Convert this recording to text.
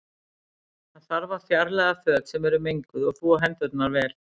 Þá þarf að fjarlæga föt sem eru menguð og þvo hendurnar vel.